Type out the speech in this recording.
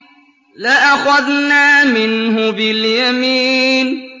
لَأَخَذْنَا مِنْهُ بِالْيَمِينِ